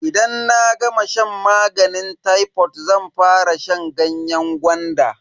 Idan na gama shan maganin tayfod zan fara shan ganyen gwanda.